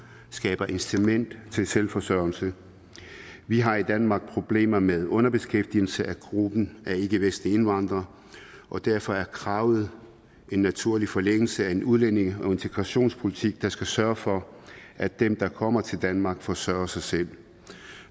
skaber incitament til selvforsørgelse vi har i danmark problemer med underbeskæftigelse af gruppen af ikkevestlige indvandrere og derfor er kravet en naturlig forlængelse af en udlændinge og integrationspolitik der skal sørge for at dem der kommer til danmark forsørger sig selv